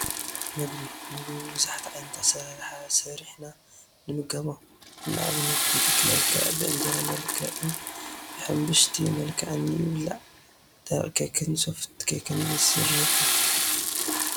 ምግቢ፡- ምግቢ ብብዙሕ ዓይነት ኣሰራርሓ ሰሪሕና ንምገቦ፡፡ ንኣብነት ብኬክ መልክዕ፣ ብእንጀራ መልክዕን ብሕብሽቲ መልክዕን ይብላዕ፡፡ ደረቕ ኬክን ሶፍት ኬክን ይስርሑ፡፡